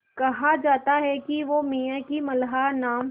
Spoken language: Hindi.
कहा जाता है कि वो मियाँ की मल्हार नाम